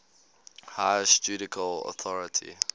highest judicial authority